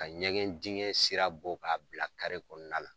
Ka ɲɛgɛn dingɛ sira bɔ k'a bila kari kɔnɔna na.